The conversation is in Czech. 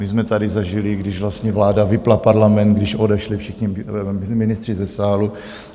My jsme tady zažili, když vlastně vláda vypnula parlament, když odešli všichni ministři ze sálu.